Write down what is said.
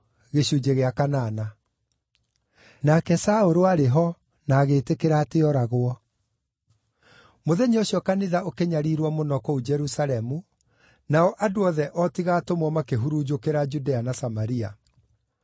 Nake Saũlũ aarĩ ho, na agĩĩtĩkĩra atĩ ooragwo. Kanitha Kũnyariirwo na Kũhurunjwo Mũthenya ũcio kanitha ũkĩnyariirwo mũno kũu Jerusalemu, nao andũ othe o tiga atũmwo makĩhurunjũkĩra Judea na Samaria.